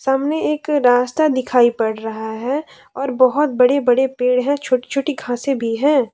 सामने एक रास्ता दिखाई पड़ रहा है और बहोत बड़े बड़े पेड़ है छोटी छोटी घासे भी है।